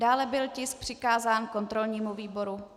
Dále byl tisk přikázán kontrolnímu výboru.